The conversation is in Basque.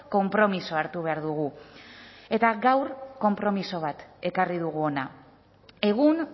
konpromisoa hartu behar dugu eta gaur konpromiso bat ekarri dugu hona egun